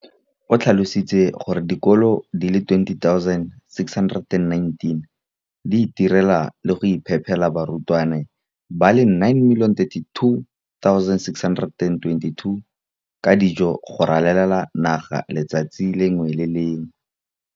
O tlhalositse gore dikolo di le 20 619 di itirela le go iphepela barutwana ba le 9 032 622 ka dijo go ralala naga letsatsi le lengwe le le lengwe.